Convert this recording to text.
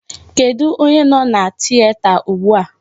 Kedụ onye nọ na tieta ugbu a?